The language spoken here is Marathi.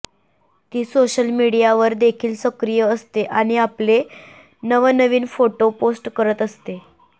ती सोशल मीडियावर देखील सक्रिय असते आणि आपले नवनवीन फोटो पोस्ट करत असते